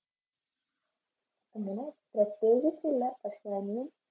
അങ്ങനെ പ്രത്യേകിച്ചില്ല. പക്ഷേ അനിയൻ